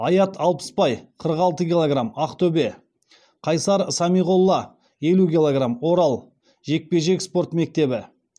аят алпысбай қырық алты килограмм ақтөбе қайсар самиғолла елу килограмм орал жекпе жек спорт мектебі